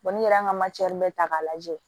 n'i yɛrɛ y'an ka bɛɛ ta k'a lajɛ